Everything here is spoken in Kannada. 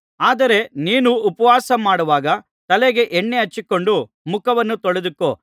ಆದರೆ ನೀನು ಉಪವಾಸಮಾಡುವಾಗ ತಲೆಗೆ ಎಣ್ಣೆ ಹಚ್ಚಿಕೊಂಡು ಮುಖವನ್ನು ತೊಳೆದುಕೋ